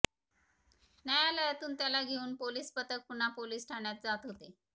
न्यायालयातून त्याला घेऊन पोलीस पथक पुन्हा पोलीस ठाण्यात जात होते